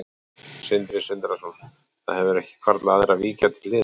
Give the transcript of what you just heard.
Sindri Sindrason: Það hefur ekki hvarflað að þér að víkja til hliðar?